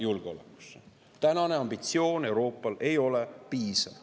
Euroopa tänane ambitsioon ei ole piisav.